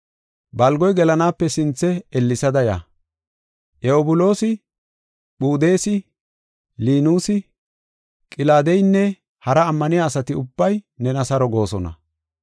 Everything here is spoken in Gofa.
Balgoy gelanaape sinthe ellesada ya. Ewubulusi, Phudeesi, Linuusi, Qilaadeynne hara ammaniya asati ubbay nena saro goosona.